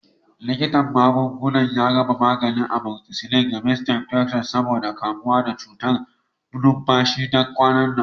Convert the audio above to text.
Likitan magunguna ya raba maganin amoxicillin ga Mrs. Anderson saboda kamuwa da cutar numfashi ta kwanan nan.